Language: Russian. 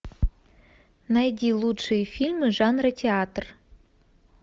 найди лучшие фильмы жанра театр